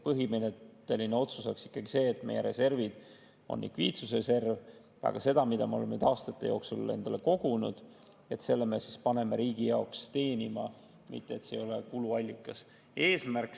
Põhimõtteline otsus oleks ikkagi see, et meie reserv on likviidsusreserv, aga selle, mida me oleme aastate jooksul kogunud, me paneme riigi jaoks teenima, see ei ole kuluallikas.